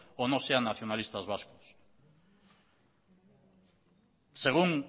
o no sean nacionalistas vascos según